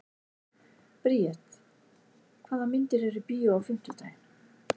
Briet, hvaða myndir eru í bíó á fimmtudaginn?